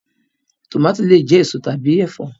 Tọmatì le jẹ èso tàbí ẹfọ.